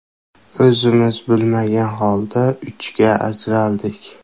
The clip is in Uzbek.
O‘zimiz bilmagan holda ikkiga ajraldik.